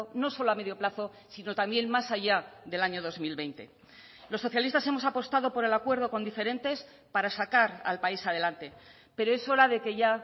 no solo a medio plazo sino también más allá del año dos mil veinte los socialistas hemos apostado por el acuerdo con diferentes para sacar al país adelante pero es hora de que ya